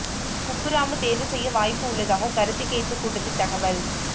குப்புராமு தேர்வு செய்ய வாய்ப்பு உள்ளதாக கருத்து கேட்பு கூட்டத்தில் தகவல்